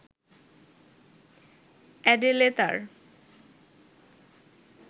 Adele তার